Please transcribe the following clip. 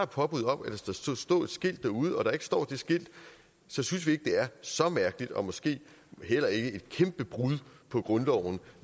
påbud om at der skulle stå et skilt derude og der ikke står det skilt så synes vi ikke det er så mærkeligt og måske heller ikke et kæmpe brud på grundloven